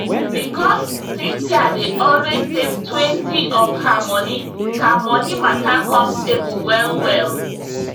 because cynthia dey always savetwentyof her moni her money matter come stable well well